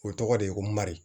O tɔgɔ de ye ko mari